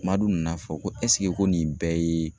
Madu nana fɔ ko ɛseke ko nin bɛɛ ye